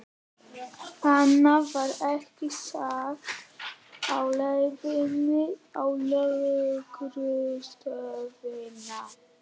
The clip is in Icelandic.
Annað var ekki sagt á leiðinni á lögreglustöðina.